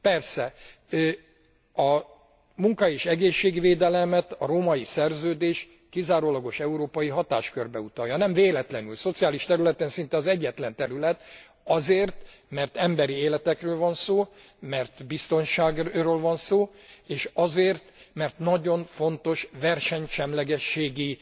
Persze a munka és egészségvédelmet a Római Szerződés kizárólagos európai hatáskörbe utalja. Nem véletlenül! Szociális területen szinte az egyetlen terület, azért, mert emberi életekről van szó, mert biztonságról van szó, és azért, mert nagyon fontos versenysemlegességi